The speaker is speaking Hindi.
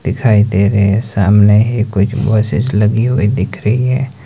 दिखाई दे रहे हैं सामने ही कुछ बसेस लगी हुई दिख रही है।